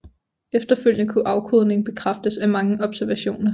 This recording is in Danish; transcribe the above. Efterfølgende kunne afkodningen bekræftes af mange observationer